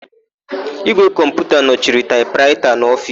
Ígwè kọmputa nọchiri taịpraịta n'ofiisi.